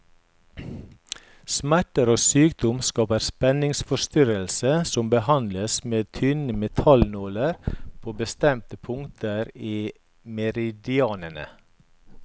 Smerter og sykdom skaper spenningsforstyrrelser, som behandles med tynne metallnåler på bestemte punkter i meridianene.